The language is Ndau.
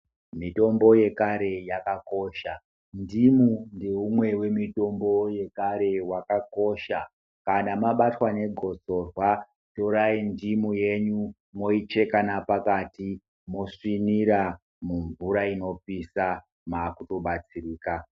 Mitombo yekare yakakosha, ndimu ndeumwe wemitombo wakakosha kana mabatwa negotsorwa, torayi ndimu yenyu moyicheka napakati mosvinira mumvura inopisa makutobatsirika.